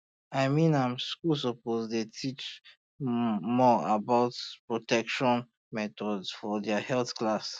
i mean am schools suppose really dey teach um more um about um protection methods for their health class